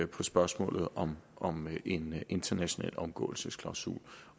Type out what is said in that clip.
på spørgsmålet om om en international omgåelsesklausul